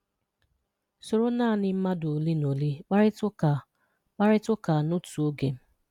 Soro naanị mmadụ ole na ole kparịta ụka kparịta ụka n'otu oge.